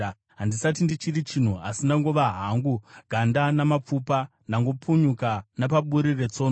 Handisati ndichiri chinhu asi ndangova hangu ganda namapfupa; ndangopunyuka napaburi retsono.